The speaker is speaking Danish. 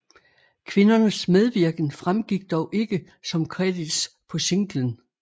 Kvindernes medvirken fremgik dog ikke som credits på singlen